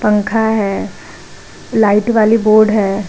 पंखा है लाइट वाली बोर्ड है।